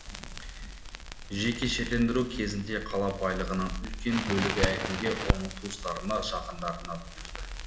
жекешелендіру кезінде қала байлығынан үлкен бөлігі әкімге оның туысқандарына жақындарына бұйырды